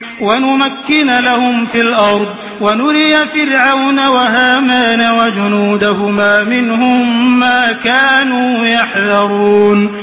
وَنُمَكِّنَ لَهُمْ فِي الْأَرْضِ وَنُرِيَ فِرْعَوْنَ وَهَامَانَ وَجُنُودَهُمَا مِنْهُم مَّا كَانُوا يَحْذَرُونَ